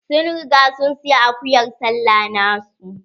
Sun riga sun saya akuyar sallah na su.